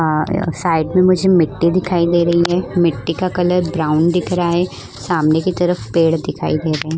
आ side मुझे मिट्टी दिखयी दे रही है मिट्टी का कलर ब्राउन दिख रहा है सामने के तरफ पेड दिखयी दे रहे है।